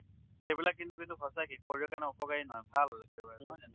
সেইবিলাক কিন্তু কিন্তু সঁচাকে শৰীৰৰ কাৰণে অপকাৰী নহয়, ভাল একেবাৰে নহয় জানো?